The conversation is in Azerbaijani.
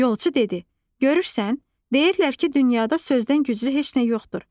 Yolçu dedi: Görürsən, deyirlər ki, dünyada sözdən güclü heç nə yoxdur.